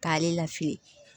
K'ale lafili